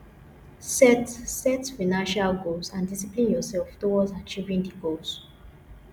set set financial goals and discipline yourself towards achieving di goals